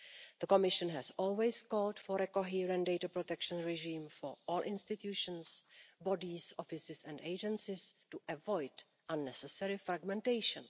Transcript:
The Commission has always called for a coherent data protection regime for all institutions, bodies, offices and agencies to avoid unnecessary fragmentation.